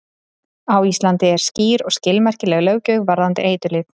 Á Íslandi er skýr og skilmerkileg löggjöf varðandi eiturlyf.